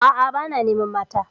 A'a, ba na neman mata.